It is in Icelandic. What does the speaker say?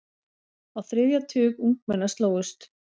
Á þriðja tug ungmenna slógust.